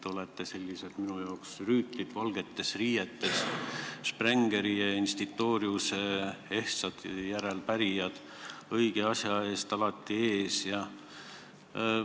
Te olete minu silmis sellised rüütlid valgetes riietes, Sprengeri ja Institoriuse ehtsad järeltulijad, õige asja eest alati väljas.